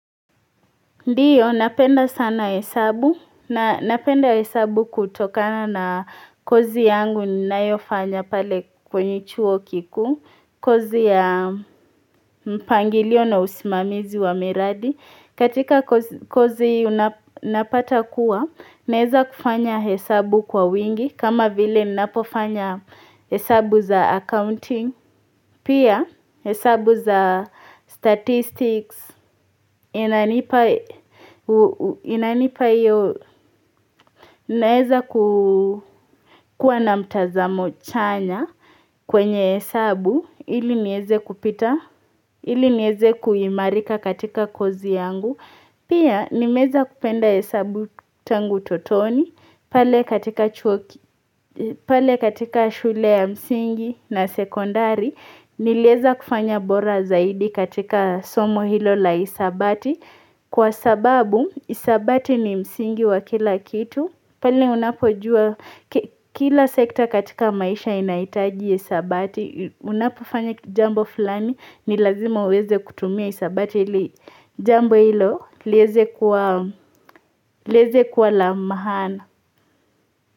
Ndiyo napenda sana hesabu na napenda hesabu kutokana na kozi yangu ninayofanya pale kwenye chuo kikuu kozi ya mpangilio na usimamizi wa miradi katika kozi unapata kuwa naeza kufanya hesabu kwa wingi kama vile napofanya hesabu za accounting Pia hesabu za statistics inanipa iyo naeza kukua na mtazamo chanya kwenye hesabu ili nieze kupita ili nieze kuimarika katika kozi yangu. Pia nimeweza kupenda hesabu tangu utotoni pale katika shule ya msingi na sekondari niliweza kufanya bora zaidi katika somo hilo la hisabati kwa sababu hisabati ni msingi wa kila kitu. Pali unapojua kila sekta katika maisha inahitaji hisabati, unapofanya jambo fulani ni lazima uweze kutumia hisabati ili jambo hilo liweze kuwa la maana.